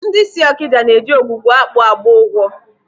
Ndị si Ọkịja na eji Ogwugwuakpu agba ụgwọ.